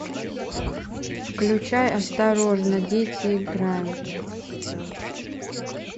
включай осторожно дети играют